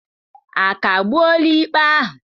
A kagbuola ikpe ahụ?